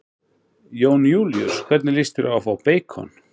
Jón Júlíus: Hvernig lýst þér á að fá beikon?